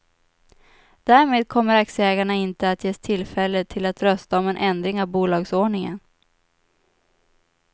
Därmed kommer aktieägarna inte att ges tillfälle till att rösta om en ändring av bolagsordningen.